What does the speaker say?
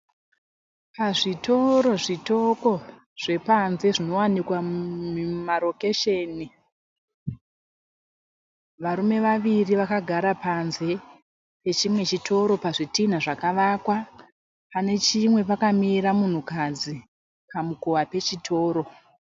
Pazvitoro zvitoko zvepanze zvinowanikwa mumarokesheni. Varume vaviri vakagara panze pechimwe chitoro pazvitina zvakavakwa panechimwe pakamira munhukadzi pamukova pechitoro.